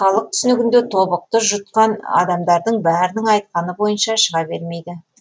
халық түсінігінде тобықты жұтқан адамдардың бәрінің айтқаны бойынша шыға бермейді